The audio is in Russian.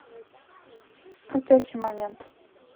крутящий момент